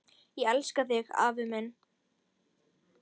Ég elska þig, afi minn!